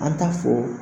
An t'a fɔ